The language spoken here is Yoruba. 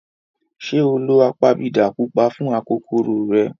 Ṣé ó lo apabidà pupa fún akokoro rẹ̀?